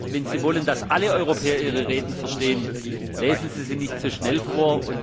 Wenn Sie wollen, dass alle Europäer Ihre Reden verstehen, lesen Sie sie nicht zu schnell vor!